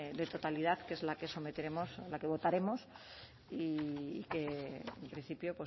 de totalidad que es la que votaremos y que en principio